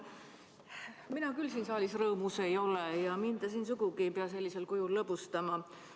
Mina küll siin saalis rõõmus ei ole ja mind te ei pea siin sugugi sellisel kujul lõbustama.